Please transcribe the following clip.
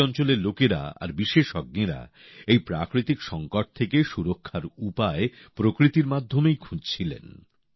ওই অঞ্চলের লোকেরা আর বিশেষজ্ঞরা এই প্রাকৃতিক সংকট থেকে সুরক্ষার উপায় প্রকৃতির মাধ্যমেই খুঁজছিলেন